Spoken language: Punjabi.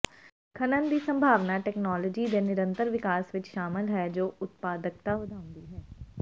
ਖਨਨ ਦੀ ਸੰਭਾਵਨਾ ਤਕਨਾਲੋਜੀ ਦੇ ਨਿਰੰਤਰ ਵਿਕਾਸ ਵਿਚ ਸ਼ਾਮਲ ਹੈ ਜੋ ਉਤਪਾਦਕਤਾ ਵਧਾਉਂਦੀ ਹੈ